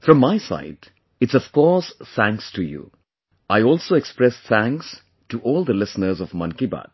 From my side, it's of course THANKS to you; I also express thanks to all the listeners of Mann ki Baat,